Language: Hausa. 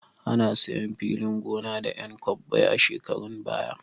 Ana sayan filin gona da 'yan kwabbai a shekarun baya.